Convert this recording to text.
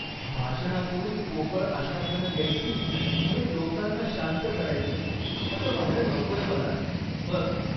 भाषणांतून पोकळ आश्वासनं द्यायची आणि लोकांना शांत करायचं असं व्हायला नकोय मला, बस.